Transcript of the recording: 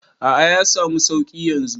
A'a, ya samu suƙi yanzu.